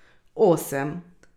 Osem.